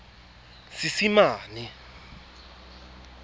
seesimane